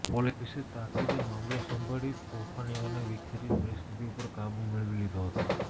પોલીસે તાકિદે મામલો સંભાળી તોફાનીઓને વિખેરી પરિસ્થિતિ ઉપર કાબુ મેળવી લીધો હતો